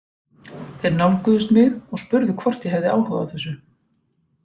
Þeir nálguðust mig og spurðu hvort ég hefði áhuga á þessu.